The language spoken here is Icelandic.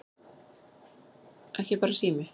Ekki bara sími